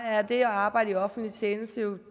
er det at arbejde i offentlig tjeneste